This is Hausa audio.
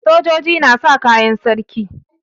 Sojoji na sa kayan sarki.